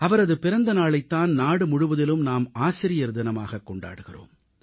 அவரது பிறந்த நாளைத் தான் நாடு முழுவதிலும் நாம் ஆசிரியர் தினமாக கொண்டாடுகிறோம்